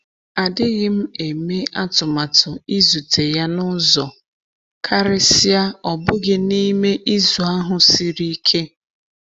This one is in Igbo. Adịghị m eme atụmatụ ịzute ya n'uzọ, karịsịa ọ bụghị n'i me izu ahụ siri ike.